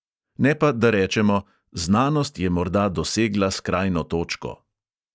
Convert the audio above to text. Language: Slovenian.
Ne pa, da rečemo: "znanost je morda dosegla skrajno točko."